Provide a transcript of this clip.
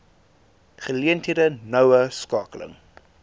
geleenthede noue skakeling